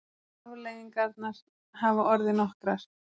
Afleiðingarnar hafa orðið nokkrar.